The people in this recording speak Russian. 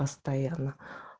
постоянно